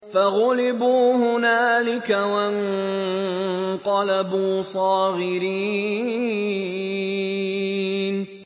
فَغُلِبُوا هُنَالِكَ وَانقَلَبُوا صَاغِرِينَ